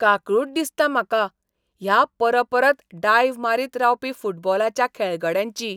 काकूळट दिसता म्हाका ह्या परपरत डायव मारीत रावपी फुटबॉलाच्या खेळगड्यांची.